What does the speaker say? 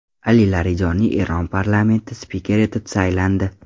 Ali Larijoniy Eron parlamenti spikeri etib saylandi.